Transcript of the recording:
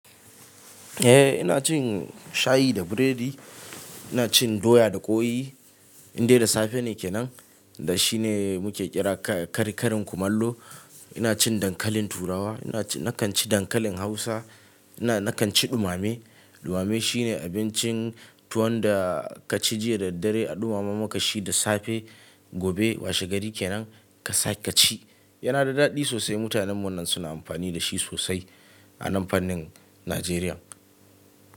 Eh ina cin shayi da biredi, ina cin doya da ƙwai Indai da safe ne kenan da shi ne muke kira kari-karin kumallo. Ina cin dankalin turawa, ina ci, nakan ci dankalin hausa. Ina, nakan ci ɗumame. Ɗumame shine abincin tuwon da ka ci jiya da daddare a ɗumame maka shi da safe. Gobe washe gari kenan ka sa ka ci. Yana da daɗi sosai. Mutanen mu nan suna amfani da shi sosai a nan fannin Najeriya.